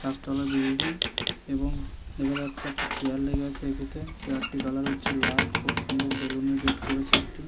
চার তলা বিল্ডিং এবং দেখা যাচ্ছে একটি চেয়ার লেগেছে এতে চেয়ার -টির কালার হচ্ছে লাল খুব সুন্দর বেলুন -এর গেট করেছে একটি।